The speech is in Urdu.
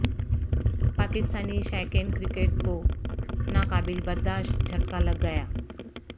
پاکستانی شائقین کرکٹ کو ناقابل برداشت جھٹکا لگ گیا